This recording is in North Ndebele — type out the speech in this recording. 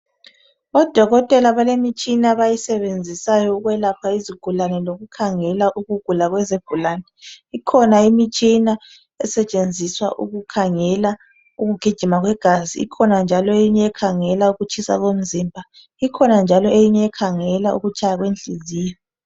Odokotela balemitshina abayisebenzisayo ukwelapha izigulane. Lokukhangela ukugula kwezigulane. Ikhona imitshina esetshenziswa ukukhangela ukugijima kwegazi, Kukhona eyinye ekhangela ukutshisa komzimba. Kukhona njalo eyinye ekhangela ukutshaya kwenhliziyo.